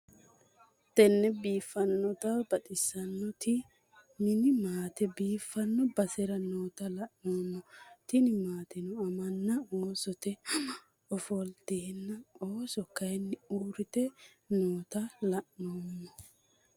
Mitte biifanottina baxxissanoti mini maate biifanno baserra noota la'nnemo tini maattenno ammana oossotte Amma offolittena oosso kaayiinni uuritte noota la'emma